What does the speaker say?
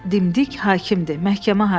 Dimdik hakimdir, məhkəmə hakimi.